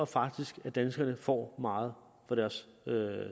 faktisk at danskerne får meget for deres